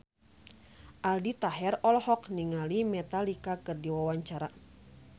Aldi Taher olohok ningali Metallica keur diwawancara